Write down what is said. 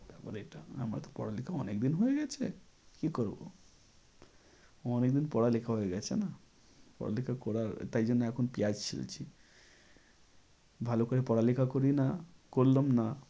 আমার তো পড়ালেখা অনেক দিন হয়ে গেছে কি করবো। অনেক দিন পড়ালেখা হয়ে গেছে না। পড়ালেখা করার তাই জন্যে এখন পিঁয়াজ ছিলছি ভালো করে পড়ালেখা করি না, করলাম না